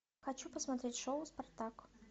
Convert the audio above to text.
хочу посмотреть шоу спартак